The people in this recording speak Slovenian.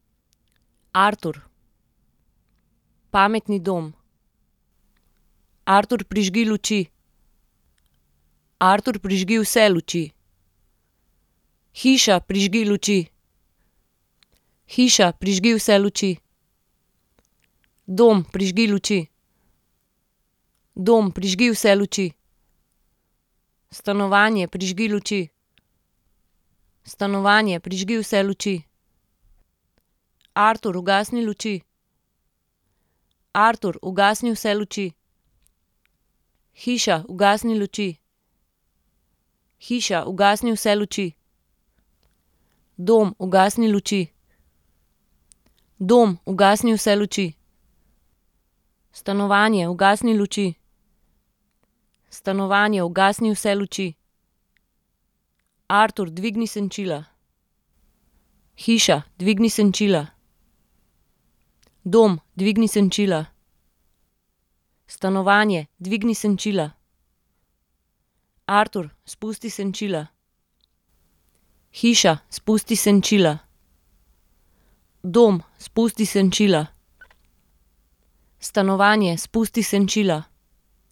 Artur. Pametni dom. Artur, prižgi luči. Artur, prižgi vse luči. Hiša, prižgi luči. Hiša, prižgi vse luči. Dom, prižgi luči. Dom, prižgi vse luči. Stanovanje, prižgi luči. Stanovanje, prižgi vse luči. Artur, ugasni luči. Artur, ugasni vse luči. Hiša, ugasni luči. Hiša, ugasni vse luči. Dom, ugasni luči. Dom, ugasni vse luči. Stanovanje, ugasni luči. Stanovanje, ugasni vse luči. Artur, dvigni senčila. Hiša, dvigni senčila. Dom, dvigni senčila. Stanovanje, dvigni senčila. Artur, spusti senčila. Hiša, spusti senčila. Dom, spusti senčila. Stanovanje, spusti senčila.